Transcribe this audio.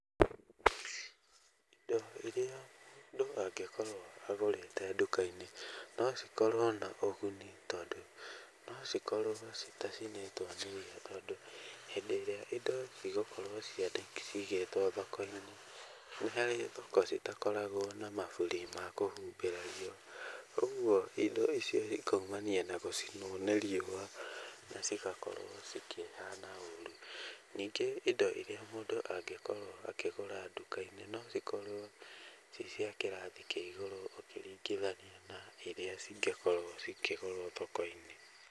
Indo iria mũndũ angĩkorwo agũrĩte nduka-inĩ, nocikorwo na ũguni tondũ, nocikorwo citacinĩtwo nĩ riũwa, tondũ hĩndĩ ĩrĩa indo igũkorwo cigĩtwo thoko-inĩ, nĩ harĩ thoko citakoragwo na maburi makũhumbĩra riũwa, ũguo indo icio cikaumania na gũcinwo nĩ riũwa, na cigakorwo cikĩhana ũru. Ningĩ indo iria mũndũ angĩkorwo akĩgũra nduka-inĩ, no cikorwo ciciakĩrathi kĩa igũrũ ũkĩringithania na rĩrĩa cingĩkorwo cikĩgũrwo thoko-inĩ.